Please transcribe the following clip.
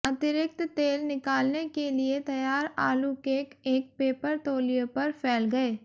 अतिरिक्त तेल निकालने के लिए तैयार आलू केक एक पेपर तौलिया पर फैल गए